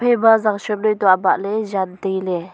zangshom noi toh abah ley jan tai ley.